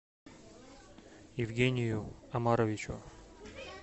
евгению омаровичу